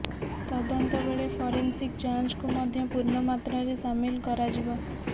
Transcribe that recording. ତଦନ୍ତ ବେଳେ ଫରେନସିକ୍ ଯାଞ୍ଚକୁ ମଧ୍ୟ ପୂର୍ଣ୍ଣ ମାତ୍ରାରେ ସାମିଲ କରାଯିବ